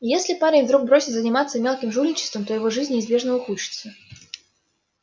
если парень вдруг бросит заниматься мелким жульничеством то его жизнь неизбежно ухудшится